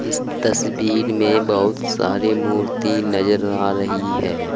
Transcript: इस तस्वीर में बहुत सारे मूर्ति नजर आ रही हैं।